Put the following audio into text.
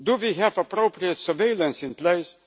Do we have appropriate surveillance in